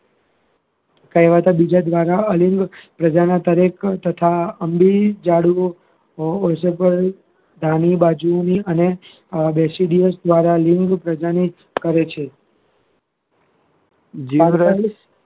કહેવતા બીજા દ્વારા અને basadius લિંગ પ્રજનન કરે છે